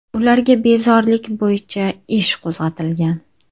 Ularga bezorilik bo‘yicha ish qo‘zg‘atilgan.